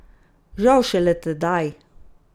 Žal šele tedaj!